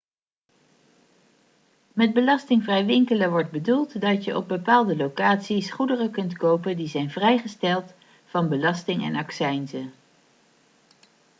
met belastingvrij winkelen wordt bedoeld dat je op bepaalde locaties goederen kunt kopen die zijn vrijgesteld van belasting en accijnzen